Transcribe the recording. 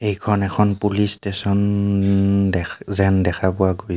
এইখন এখন police station দেখ - এ - যেন দেখা পোৱা গৈছে.